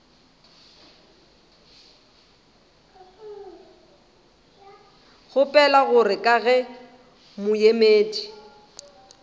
kgopela gore ka ge moemedi